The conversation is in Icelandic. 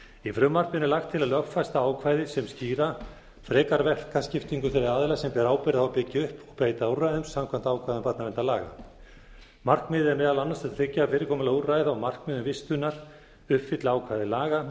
í frumvarpinu er lagt til að lögfesta ákvæðið sem þýða frekar verkaskiptingu þeirra aðila sem bera ábyrgð á að byggja upp og breyta úrræðum samkvæmt ákvæðum barnaverndarlaga markmiðið er meðal annars að tryggja að fyrirkomulag úrræða og markmiðum vistunar uppfylli ákvæði laga